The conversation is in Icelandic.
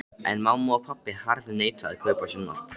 En mamma og pabbi harðneita að kaupa sjónvarp.